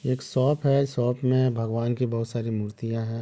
एक शॉप है शॉप मे भगवान की बहुत सारी मूर्तियाँ है।